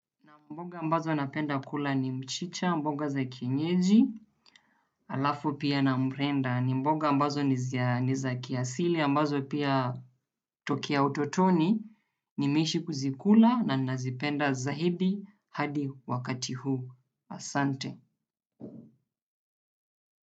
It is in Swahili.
Na mboga ambazo napenda kula ni mchicha, mboga za kienyeji, alafu pia na mrenda. Ni mboga ambazo ni zia ni za kiasili, ambazo pia tokea utotoni, nimeishi kuzikula na nazipenda zaidi hadi wakati huu. Asante.